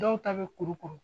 Dɔw ta be kurukuru.